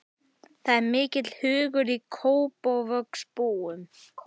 Það er mikill hugur í Kópavogsbúum.